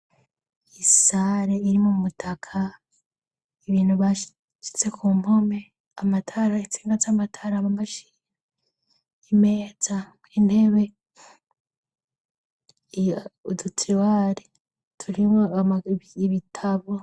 Isare irimwo umutaka, ibintu bashize ku mpome. Amatara, intsinga z'amatara mu mashini, imeza, intebe udutiriware turimwo ibitabo.